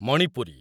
Manipuri